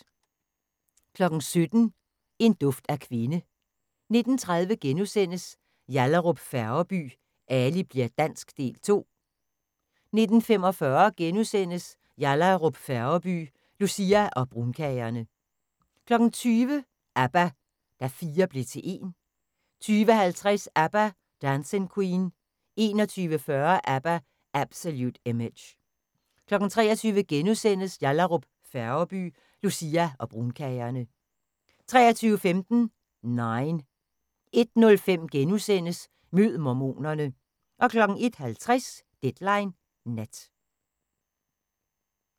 17:00: En duft af kvinde 19:30: Yallahrup Færgeby: Ali bli'r dansk – Del 2 * 19:45: Yallahrup Færgeby: Lucia og brunkagerne * 20:00: ABBA – Da fire blev til en 20:50: ABBA – Dancing Queen 21:40: ABBA – Absolut Image 23:00: Yallahrup Færgeby: Lucia og brunkagerne * 23:15: Nine 01:05: Mød mormonerne * 01:50: Deadline Nat